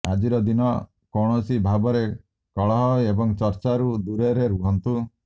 ଆଜିର ଦିନ କୌଣସି ଭାବରେ କଲହ ଏବଂ ଚର୍ଚ୍ଚାରୁ ଦୂରରେ ରୁହନ୍ତୁ